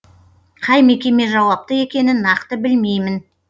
қай мекеме жауапты екенін нақты білмеймін